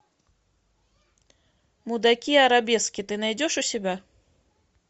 мудаки арабески ты найдешь у себя